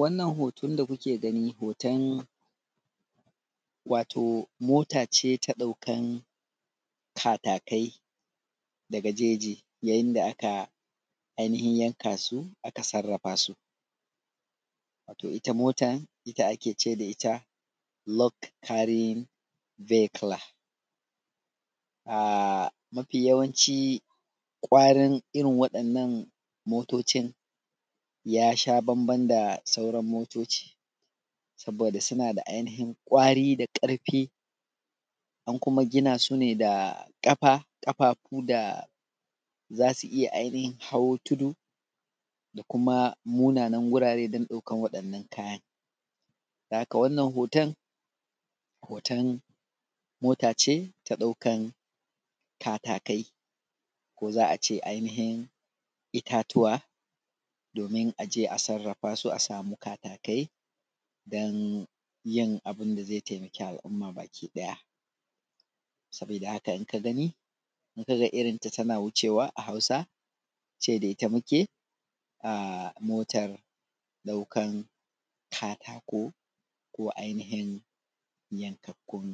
wannan hoton da kuke gani hoton wato mota ce ta ɗaukan katakai daga jeji yayin da aka ainihin yanka su aka sarrafa su wato ita motar ita ake ce da ita load carrying vehicle mafi yawanci ƙwarin irin waɗannan motocin ya sha bamban da sauran motoci saboda suna da ainihin ƙwari da ƙarfi an kuma gina su ne da ƙafa ƙafafu da za su iya ainihin hau tudu da kuma munanan wurare don ɗaukan waɗannan kayan don haka wannan hoton hoton mota ce ta ɗaukan katakai ko za a ce ainihin itatuwa domin a je a sarrafa su a samu katakai don yin abin da zai taimaki al’umma baki ɗaya sabida haka in ka gani in ka ga irinta tana wucewa a hausa ce da ita muke motar ɗaukan katako ko ainihin yankakkun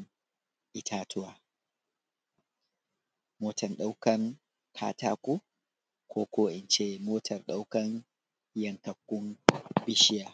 itatuwa motar ɗaukan katako ko ko in ce motar ɗaukan yankakkun bishiya